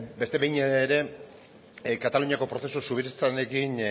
beste behin ere kataluniako prozesu soberanistarekin